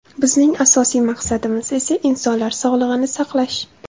Bizning asosiy maqsadimiz esa insonlar sog‘lig‘ini saqlash.